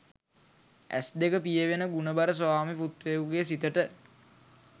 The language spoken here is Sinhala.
ඇස් දෙක පියවෙන ගුණබර ස්වාමි පුත්‍රයෙකුගේ සිතට